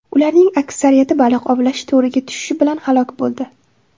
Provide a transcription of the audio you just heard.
Ularning aksariyati baliq ovlash to‘riga tushishi bilan halok bo‘ldi.